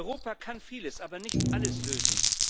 Europa kann vieles, aber nicht alles lösen.